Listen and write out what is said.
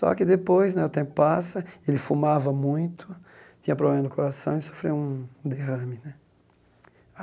Só que depois né, o tempo passa, ele fumava muito, tinha problema no coração e sofreu um derrame né.